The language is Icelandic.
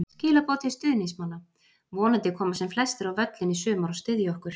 Skilaboð til stuðningsmanna: Vonandi koma sem flestir á völlinn í sumar og styðja okkur.